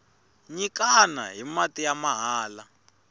nyikana hi mati ya mahala